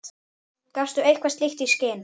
Gafstu eitthvað slíkt í skyn?